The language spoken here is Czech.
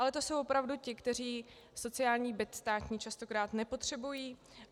Ale to jsou opravdu ti, kteří sociální byt státní častokrát nepotřebují.